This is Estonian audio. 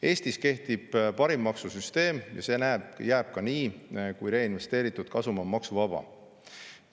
Eestis kehtib parim maksusüsteem ja see jääb ka nii, kui reinvesteeritud kasum on maksuvaba.